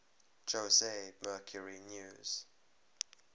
jose mercury news